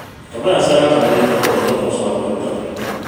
Tabias aratarĩria atĩ muoroto nĩ gũcokia kwĩruta biũ